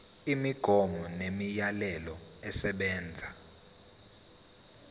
imigomo nemiyalelo esebenza